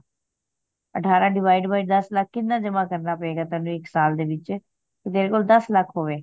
ਅਠਾਰਹ decide by ਦੱਸ ਲੱਖ ਕਿਹਨਾਂ ਜਮਾ ਕਰਨਾ ਪਏਗਾ ਤੈਨੂੰ ਇੱਕ ਸਾਲ ਦੇ ਵਿਚ ਕਿ ਤੇਰੇ ਕੋਲ ਦੱਸ ਲੱਖ ਹੋਵੇ